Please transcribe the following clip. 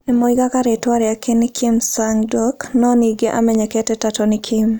Nĩ moigaga rĩĩtwa rĩake nĩ Kim Sang-duk, no ningĩ nĩ amenyekete ta Tony Kim.